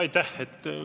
Aitäh!